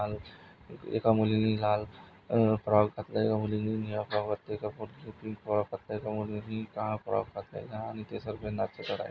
एका मुलींनी लाल अह फ्रॉक घातला एका मुलींनी नीळा फ्रॉक घातला एका मुलींनी पीक फ्रॉक घातला एका मुलींनी काळा फ्रॉक घातलेला आणि ते सर्वे नाचत दिसत आहे.